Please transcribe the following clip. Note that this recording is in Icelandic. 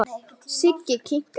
Siggi kinkaði kolli.